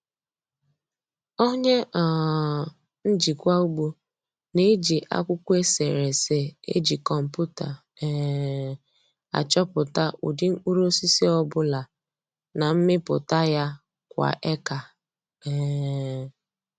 Onye um njikwa ugbo na-eji akwụkwọ eserese eji kọmputa um achọpụta ụdị mkpụrụosisi ọ bụla na mmịpụta ya kwa eka. um